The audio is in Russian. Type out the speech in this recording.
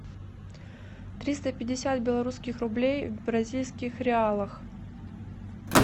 триста пятьдесят белорусских рублей в бразильских реалах